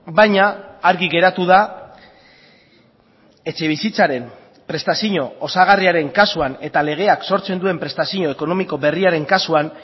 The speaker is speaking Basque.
baina argi geratu da etxebizitzaren prestazio osagarriaren kasuan eta legeak sortzen duen prestazio ekonomiko berriaren kasuan